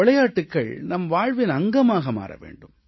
விளையாட்டுகள் நம் வாழ்வின் அங்கமாக மாற வேண்டும்